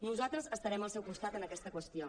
nosaltres estarem al seu costat en aquesta qüestió